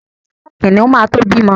Kìnìún ma to bímọ.